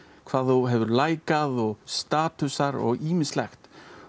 hvað þú hefur lækað statusar og ýmislegt